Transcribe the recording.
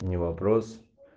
не вопрос